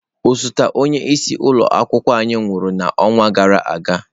Osote onye isi ụlọ akwụkwọ anyị nwụrụ n'ọnwa gara aga.